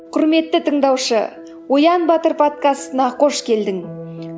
құрметті тыңдаушы оян батыр подкастына қош келдің